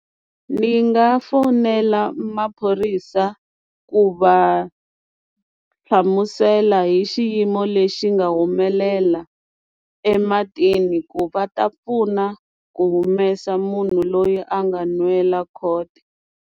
Ni nga fonela maphorisa ku va hlamusela hi xiyimo lexi nga humelela ematini ku va ta pfuna ku humesa munhu loyi a nga nwela .